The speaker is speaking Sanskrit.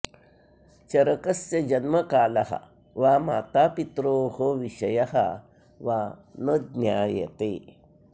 चरकस्य जन्मकालः वा मातापित्रोः विषयः वा न ज्ञायते